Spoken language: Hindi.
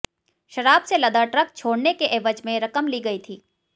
शराब से लदा ट्रक छोडऩे के एवज में रकम ली गई थी